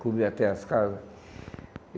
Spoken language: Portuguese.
Cobriu até as casas.